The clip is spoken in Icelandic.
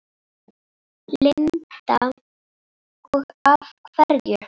Linda: Og af hverju?